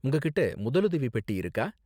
உங்ககிட்ட முதலுதவி பெட்டி இருக்கா?